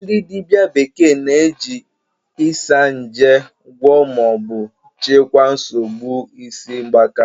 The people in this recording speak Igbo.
Ndị dibịa bekee na-eji Isanje gwọọ ma ọ bụ chịkwaa nsogbu isi mgbaka